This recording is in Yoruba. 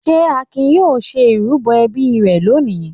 Ṣé Akin yóò ṣe ìrúbọ ẹbí rẹ̀ lónìí?